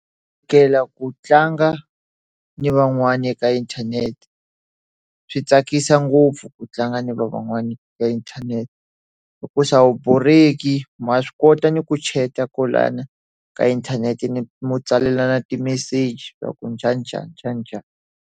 Ku tlanga ni van'wana eka inthanete. Swi tsakisa ngopfu ku tlanga ni van'wana ka inthanete. Hikuva a wu borheki, ma swi kota ni ku chat-a kwalana ka inthanete ni ku tsalelana timeseji swa ku njhaninjhani njhaninjhani.